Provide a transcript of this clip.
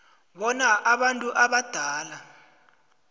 bona abantu abadala